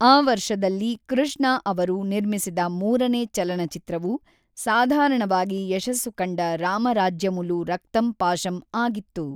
ಆ ವರ್ಷದಲ್ಲಿ ಕೃಷ್ಣ ಅವರು ನಿರ್ಮಿಸಿದ ಮೂರನೇ ಚಲನಚಿತ್ರವು ಸಾಧಾರಣವಾಗಿ ಯಶಸ್ಸು ಕಂಡ ರಾಮ ರಾಜ್ಯಮುಲು ರಕ್ತ ಪಾಶಂ ಆಗಿತ್ತು.